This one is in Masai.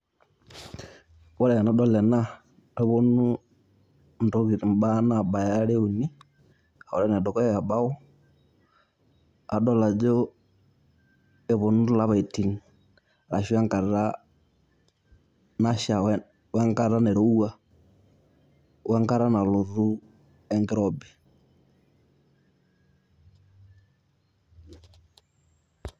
Ore enadol ena, neponu intokiting' imbaa nabaya are uni. Ore enedukuya ebao, adol ajo eponu lapaitin ashu enkata nasha wenkata nairowua, wenkata nalotu enkirobi.